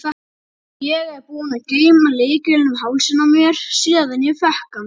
Ég er búin að geyma lykilinn um hálsinn á mér síðan ég fékk hann.